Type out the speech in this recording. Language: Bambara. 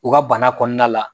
U ka bana kɔnɔna la